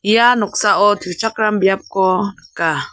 ia noksao tuchakram biapko nika.